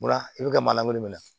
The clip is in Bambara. I bɛ ka maalan minɛ